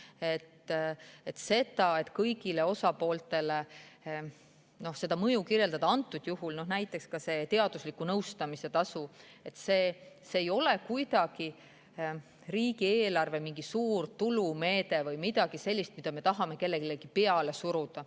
Mis puudutab seda, et kirjeldada seda mõju kõigile osapooltele, siis antud juhul näiteks see teadusliku nõustamise tasu ei ole riigieelarve kuidagi mingi suur tulumeede või midagi sellist, mida me tahame kellelegi peale suruda.